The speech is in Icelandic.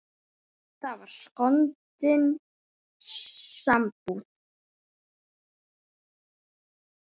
Það var skondin sambúð.